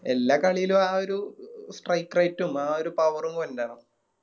എല്ലാ കളിലും ആ ഒരു Strike right ഉം ആ ഒരു Power ഉം ഇണ്ടാണം